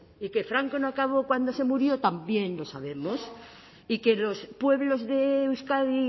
y que franco no acabó cuando se murió también lo sabemos y que los pueblos de euskadi